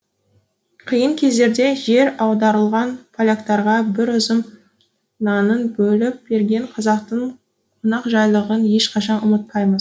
қиын кездерде жер аударылған поляктарға бір үзім нанын бөліп берген қазақтың қонақжайлылығын ешқашан ұмытпаймыз